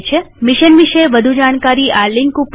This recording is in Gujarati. મિશન વિષે વધુ જાણકારી આ લિંક ઉપર ઉપલબ્ધ છે